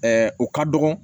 o ka dɔgɔ